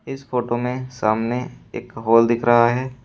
इस फोटो में सामने एक हाल दिख रहा है।